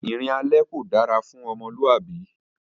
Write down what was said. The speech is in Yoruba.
Ìrìn alẹ́ kò dára fún ọmọlúwàbí